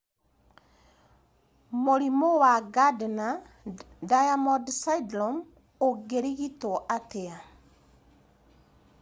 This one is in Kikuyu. Mũrimũ wa Gardner Diamond syndrome ũngĩrigitwo atĩa